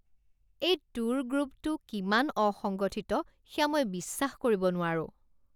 এই ট্যুৰ গ্ৰুপটো কিমান অসংগঠিত সেয়া মই বিশ্বাস কৰিব নোৱাৰোঁ।